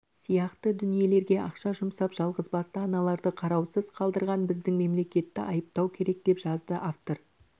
сияқты дүниелерге ақша жұмсап жалғызбасты аналарды қараусыз қалдырған біздің мемлекетті айыптау керек деп жазды автор